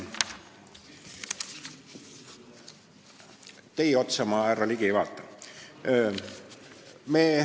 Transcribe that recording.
Teie otsa ma, härra Ligi, ei vaata.